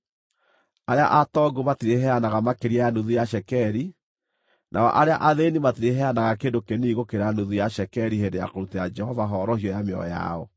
Arĩa atongu matirĩheanaga makĩria ya nuthu ya cekeri, nao arĩa athĩĩni matirĩheanaga kĩndũ kĩnini gũkĩra nuthu ya cekeri hĩndĩ ya kũrutĩra Jehova horohio ya mĩoyo yao.